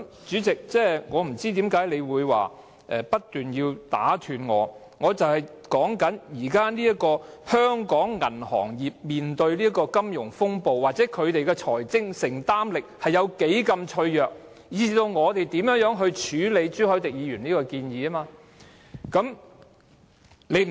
主席，我不明白你不斷打斷我發言的原因，我正正想指出香港銀行業正面對的金融風暴，銀行的財政承擔力有多脆弱，以至議員應如何處理朱凱廸議員的建議。